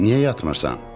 Niyə yatmırsan?